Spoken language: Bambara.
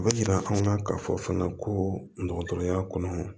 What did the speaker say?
U bɛ jira an na k'a fɔ fana ko dɔgɔtɔrɔya kɔnɔ